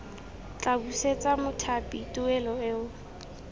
tla busetsa mothapi tuelo eo